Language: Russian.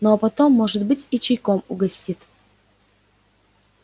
ну а потом может быть и чайком угостит